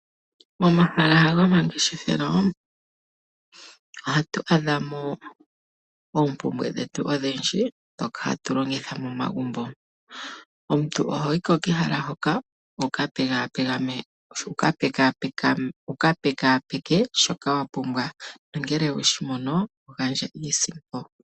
Momahala gomangeshefelo ohatu adha mo oompumbwe dhetu odhindji dhoka hatu longitha momagumbo. Omuntu ohoyi ko kehala hoka wu ka pekapeke shoka wa pumbwa, no ngele oweshi mono to gandja iisimpo.